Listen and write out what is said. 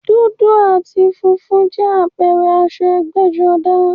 Dúdú àti funfun jẹ́ àpẹẹrẹ aṣọ ẹgbẹ́-jọdá.